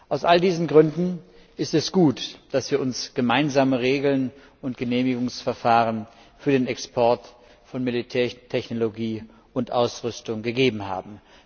Aus all diesen Gründen ist es gut, dass wir uns gemeinsame Regeln und Genehmigungsverfahren für den Export von Militärtechnologie und ausrüstung gegeben haben.